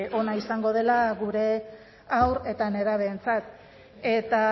ona izango dela gure haur eta nerabeentzako eta